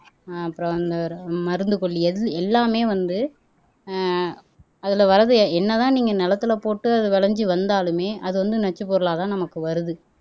ஆஹ் அப்புறம் வந்து மருந்து கொல்லி எல் எல்லாமே வந்து ஆஹ் அதிலே வர்றது என்னதான் நீங்க நெலத்துல போட்டு அது விளைஞ்சு வந்தாலுமே அது வந்து நச்சுப் பொருளாதான் நமக்கு வருது